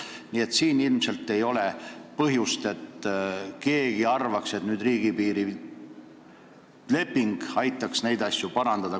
Nii et siin ilmselt ei ole põhjust kellelgi arvata, et riigipiirileping aitaks neid asju parandada.